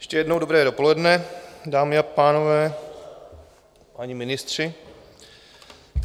Ještě jednou dobré dopoledne, dámy a pánové, páni ministři.